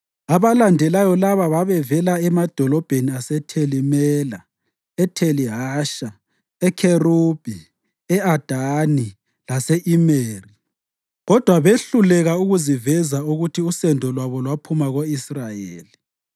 Abalandelayo laba bavela emadolobheni aseTheli Mela, eTheli Hasha, eKherubi, e-Adani, lase-Imeri, kodwa behluleka ukuveza ukuthi usendo lwabo lwaphuma ko-Israyeli: